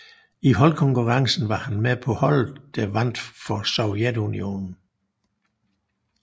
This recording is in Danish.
I holdkonkurrencen var han med på holdet der vandt for Sovjetunionen